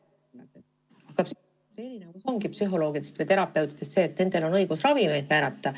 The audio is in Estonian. Psühhiaatrite erinevus psühholoogidest või terapeutidest seisnebki selles, et nendel on õigus ravimeid määrata.